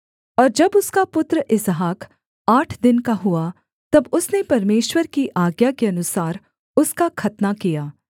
और जब उसका पुत्र इसहाक आठ दिन का हुआ तब उसने परमेश्वर की आज्ञा के अनुसार उसका खतना किया